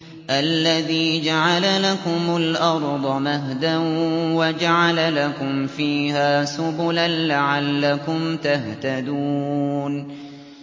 الَّذِي جَعَلَ لَكُمُ الْأَرْضَ مَهْدًا وَجَعَلَ لَكُمْ فِيهَا سُبُلًا لَّعَلَّكُمْ تَهْتَدُونَ